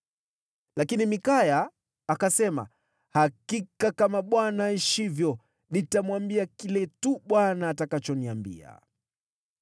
Lakini Mikaya akasema, “Hakika kama Bwana aishivyo, nitamwambia kile tu Bwana atakachoniambia.”